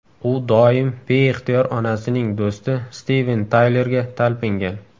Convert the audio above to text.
U doim beixtiyor onasining do‘sti Stiven Taylerga talpingan.